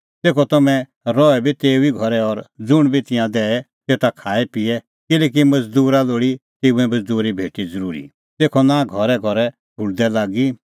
तेखअ तम्हैं रहै बी तेऊ ई घरै और ज़ुंण बी तिंयां दैए तेता ई खाएपिए किल्हैकि मज़दूरा लोल़ी तेऊए मज़दूरी भेटी ज़रूरी तेखअ नां घरैघरै ठुल्दै लागी